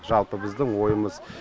жалпы біздің ойымыз